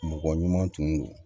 Mɔgɔ ɲuman tun do